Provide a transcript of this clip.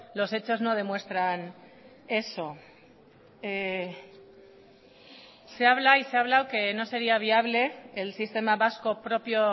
los hechos no demuestran eso se habla y se ha hablado que no sería viable el sistema vasco propio